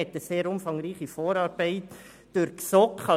Es wurde eine sehr umfangreiche Vorarbeit durch die GSoK geleistet.